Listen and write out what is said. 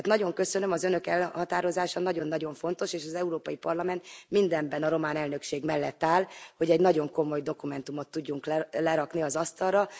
Tehát nagyon köszönöm, az Önök elhatározása nagyon nagyon fontos, és az Európai Parlament mindenben a román elnökség mellett áll, hogy egy nagyon komoly dokumentumot tudjunk lerakni az asztalra.